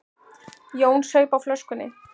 Jón saup á flöskunni.